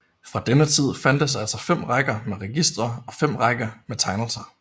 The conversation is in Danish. Fra denne tid fandtes altså 5 rækker med registre og 5 rækker med tegnelser